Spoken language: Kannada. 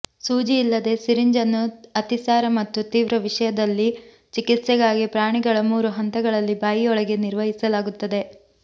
ಸೂಜಿಯಿಲ್ಲದೆ ಸಿರಿಂಜ್ ಅನ್ನು ಅತಿಸಾರ ಮತ್ತು ತೀವ್ರ ವಿಷದಲ್ಲಿ ಚಿಕಿತ್ಸೆಗಾಗಿ ಪ್ರಾಣಿಗಳ ಮೂರು ಹಂತಗಳಲ್ಲಿ ಬಾಯಿಯೊಳಗೆ ನಿರ್ವಹಿಸಲಾಗುತ್ತದೆ